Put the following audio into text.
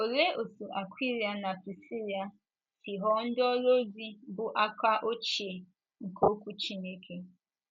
Olee otú Akwịla na Prisila si ghọọ ndị ọrụ ozi bụ́ aka ochie nke Okwu Chineke?